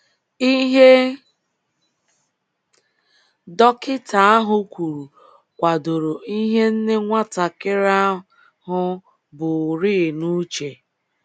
Ihe dọkịta ahụ kwuru kwadoro ihe nne nwatakịrị ahụ burịị n'uche.